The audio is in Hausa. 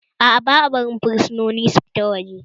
Aa, ba'a barin fursunoni su fita waje